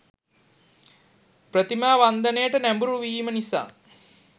ප්‍රතිමා වන්දනයට නැඹුරු වීම නිසා